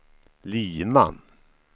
Lima